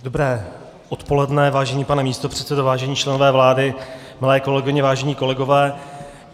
Dobré odpoledne, vážený pane místopředsedo, vážení členové vlády, milé kolegyně, vážení kolegové.